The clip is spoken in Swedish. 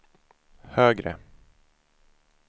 högre